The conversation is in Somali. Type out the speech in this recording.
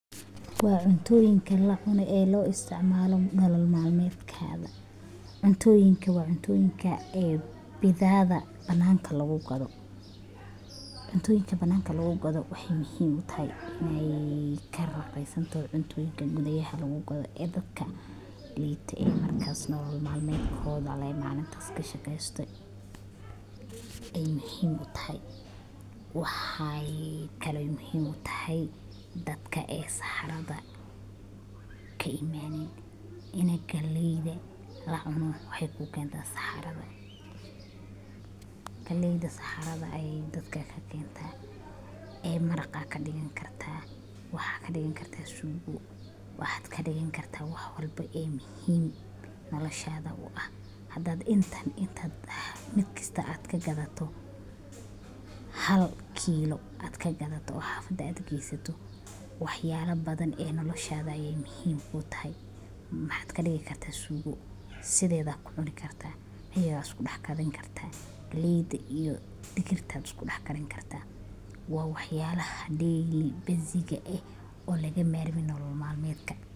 Waa cuntooyin ee lacune oo loisticmala nolol maalmedkada. cuntoyinka waa cuntooyinka badeecada banaanka lagugadho cuntooyinka banaanka lagugadho waxey muhim utahay in ey karaqis santoho cuntooyinka gudhayaha lagugadho ee dadka liita markas nolol maalmedkodha le malintas kashaqeysto ey muhiim utahay. waxaa kale ey muhiim utahay dadka ee saxaradha kaimaanin ini galeyda waxey kukeenta saxaradha . galeyda saxaradha ey dadka kakeenta ee maraqa ayaa kadigan karta waxaa kadigan kartaa suugo waxaa kadigan karta wax walbo ee muhiim noloshadha uah hadaad inta mar kasta aad kagadhato hal kiilo aad kagadhato oo xaafada aad geysato wax yaala badhan e noloshaada ayey muhiim utahay maxaad kadigi karta suugo sidheedha ayaa kucuni karta iyadha iskudaxkarin karta galeyda iyo digirta iskudaxkarin karta waa waxyaalaha daily basis ka e lagamarmin nolol maalmedka.